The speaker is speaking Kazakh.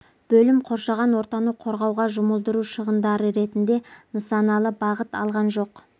бөлім қоршаған ортаны қорғауға жұмылдыру шығындар ретінде нысаналы бағыт алған жоқ